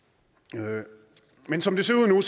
men men som det ser ud nu